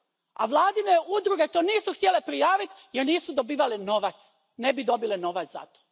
A vladine udruge to nisu htjele prijaviti jer nisu dobivale novac, ne bi dobile novac za to.